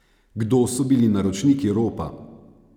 Kdo so bili naročniki ropa?